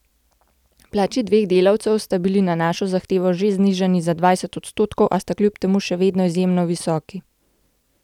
Plači dveh delavcev sta bili na našo zahtevo že znižani za dvajset odstotkov, a sta kljub temu še vedno izjemno visoki.